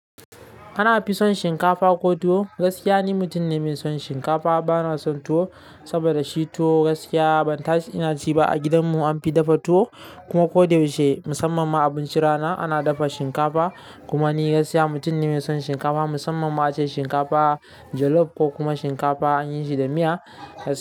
Ana fi son shinkafa ko tuwo. Gaskiya ni mutum ne mai son shinkafa. Bana son tuwo saboda shi tuwo gaskiya ban tashi ina ci ba. A gidan mu an fi dafa tuwo kuma ko da yaushe musamman ma abincin rana ana dafa shinkafa. Kuma ni gaskiya mutum ne mai son shinkafa musamman ma ace shinkafa jollof ko kuma shinkafa an yi shi da miya.